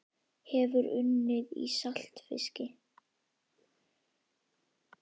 Hefurðu unnið í saltfiski?